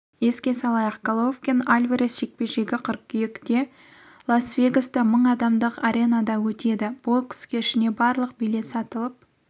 еске салайық головкин альварес жекпе-жегі қыркүйекте лас-вегаста мың адамдық аренасында өтеді бокс кешіне барлық билет сатылып